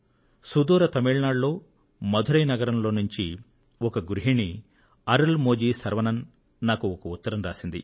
సుదూర తమిళ నాడులో మదురై నగరంలో నుండి ఒక గృహిణి అరుళ్ మొళి శరవణన్ గారు నాకు ఒక ఉత్తరం రాశారు